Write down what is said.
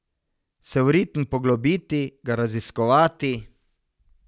Se v ritem poglobiti, ga raziskovati...